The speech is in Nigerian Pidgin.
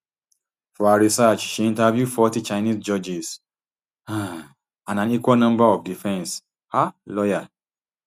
for her research she interview forty chinese judges um and an equal number of defence um lawyers